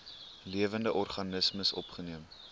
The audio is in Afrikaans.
lewende organismes opgeneem